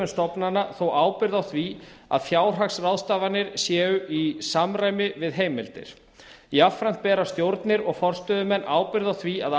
stofnana þó ábyrgð á því að fjárhagsráðstafanir séu í samræmi við heimildir jafnframt bera stjórnir og forstöðumenn ábyrgð á því að